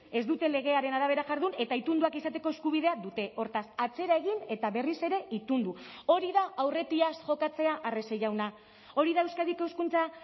ez dute legearen arabera jardun eta itunduak izateko eskubidea dute hortaz atzera egin eta berriz ere itundu hori da aurretiaz jokatzea arrese jauna hori da euskadiko hezkuntza